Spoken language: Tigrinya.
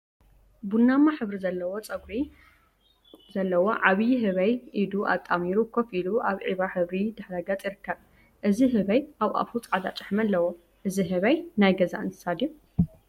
ቡናማ ሕብሪ ፀጉሪ ዘለዎ ዓብይ ህበይ ኢዱ አጣሚሩ ኮፈ ኢሉ አብ ዒባ ሕብሪ ድሕረ ገፅ ይርከብ፡፡ እዚ ህበይ አብ አፉ ፃዕዳ ጭሕሚ አለዎ፡፡ እዚ ህበይ ናይ ገዛ እንስሳት ድዩ?